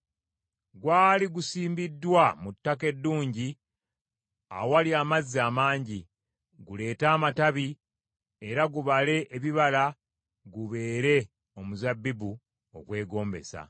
Gwali gusimbiddwa mu ttaka eddungi awali amazzi amangi, guleete amatabi era gubale ebibala gubeere omuzabbibu ogwegombesa.’